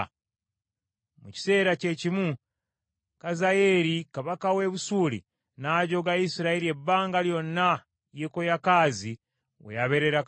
Mu kiseera kye kimu Kazayeeri kabaka w’e Busuuli n’ajooga Isirayiri ebbanga lyonna Yekoyakaazi we yabeerera kabaka.